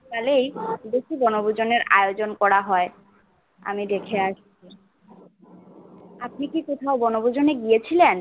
দুকারে দুক্ষু বনভুজনের আয়োজন করা হয় আমি দেখে আপনি কি কোথাও বনভূজনে গিয়েছিলেন